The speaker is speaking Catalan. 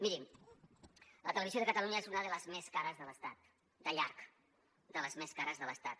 mirin la televisió de catalunya és una de les més cares de l’estat de llarg de les més cares de l’estat